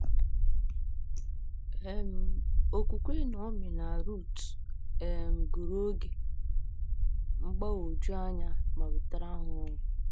um Okwukwe Naomi na Ruth um gụrụ oge um mgbagwoju anya ma wetara ha ọṅụ.